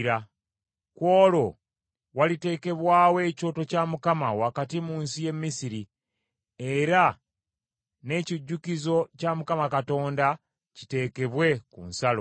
Ku olwo waliteekebwawo ekyoto kya Mukama wakati mu nsi y’e Misiri, era n’ekijjukizo kya Mukama Katonda kiteekebwe ku nsalo.